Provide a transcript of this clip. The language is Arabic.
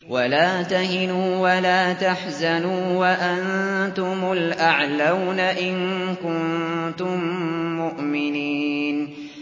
وَلَا تَهِنُوا وَلَا تَحْزَنُوا وَأَنتُمُ الْأَعْلَوْنَ إِن كُنتُم مُّؤْمِنِينَ